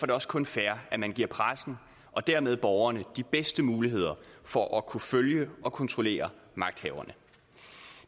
det også kun fair at man giver pressen og dermed borgerne de bedste muligheder for at kunne følge og kontrollere magthaverne